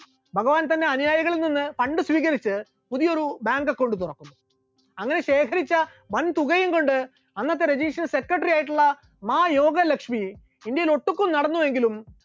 ഭഗവാൻ തന്റെ അനുയായികളിൽ നിന്ന് fund സ്വീകരിച്ച് പുതിയൊരു bank account തുറന്നു, അങ്ങനെ ശേഖരിച്ച വൻ തുകയും കൊണ്ട് അന്നത്തെ രജനീഷിന്റെ secretory ആയിട്ടുള്ള മായോഗ ലക്ഷ്മി ഇന്ത്യയിൽ ഒട്ടുമിക്ക സ്ഥലങ്ങളിലും നടന്നുവെങ്കിലും